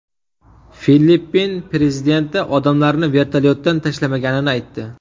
Filippin prezidenti odamlarni vertolyotdan tashlamaganini aytdi.